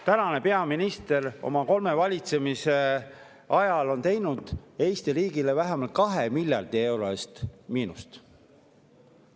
Tänane peaminister on oma kolme valitsemisaja jooksul tekitanud Eesti riigile vähemalt 2 miljardi euro eest miinust.